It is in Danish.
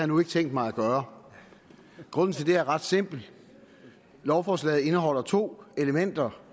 nu ikke tænkt mig at gøre grunden til det er ret simpel lovforslaget indeholder to elementer